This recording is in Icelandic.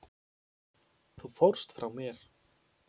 Þú fórst frá mér.